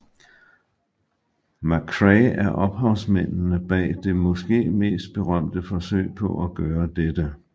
McCrae er ophavsmændene bag det måske mest berømte forsøg på at gøre dette